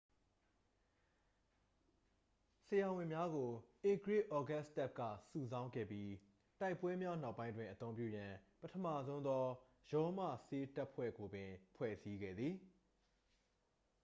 ဆရာဝန်များကို ဧကရာဇ် ဩဂတ်စတပ်က စုဆောင်းခဲ့ပြီး တိုက်ပွဲများနောက်ပိုင်းတွင် အသုံးပြုရန် ပထမဆုံးသော ရောမဆေးတပ်ဖွဲ့ကိုပင် ဖွဲ့စည်းခဲ့သည်